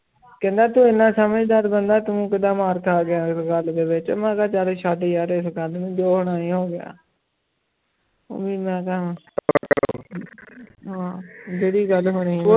ਕਹਿੰਦਾ ਤੂੰ ਇੰਨਾ ਸਮਝਦਾਰ ਬੰਦਾ ਤੂੰ ਕਿੱਦਾਂ ਮਾਰ ਖਾ ਗਿਆ ਇਸ ਗੱਲ ਦੇ ਵਿੱਚ ਮੈਂ ਕਿਹਾ ਚੱਲ ਛੱਡ ਯਾਰ ਇਸ ਗੱਲ ਨੂੰ ਜੋ ਹੋਣਾ ਸੀ ਹੋ ਗਿਆ ਉਹ ਵੀ ਮੈਂ ਕਿਹਾ ਹਾਂ ਜਿਹੜੀ ਗੱਲ ਹੋਣੀ ਹੈ